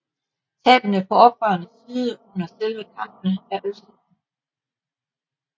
Tabene på oprørenes side under selve kampene er usikre